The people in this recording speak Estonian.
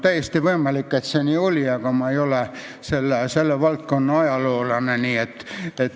Täiesti võimalik, et see nii oli, aga ma ei ole selle valdkonna ajaloolane.